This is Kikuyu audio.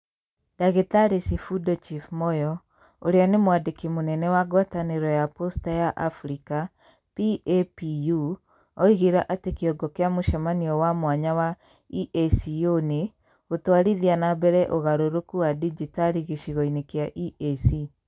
Ndagĩtarĩ Sifundo Chief Moyo, uria ni Mwandĩki mũnene wa ngwatanĩro ya posta ya Africa (PAPU), oigire atĩ kĩongo kĩa mũcemanio wa mwanya wa EACO nĩ, "Gũtwarithia na mbere ũgarũrũku wa digitali gĩcigo-inĩ kĩa EAC".